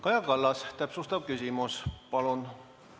Kaja Kallas, täpsustav küsimus palun!